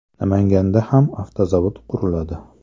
Namanganda ham avtozavod quriladi.